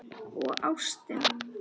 Og ástin.